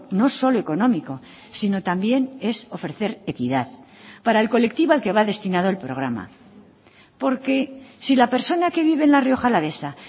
no solo económico sino también es ofrecer equidad para el colectivo al que va destinado el programa porque si la persona que vive en la rioja alavesa